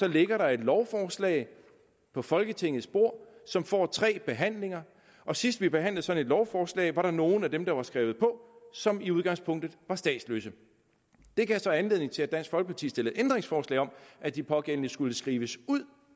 ligger der et lovforslag på folketingets bord som får tre behandlinger sidst vi behandlede sådan et lovforslag var der nogle af dem der var skrevet på som i udgangspunktet var statsløse det gav så anledning til at dansk folkeparti stillede ændringsforslag om at de pågældende skulle skrives ud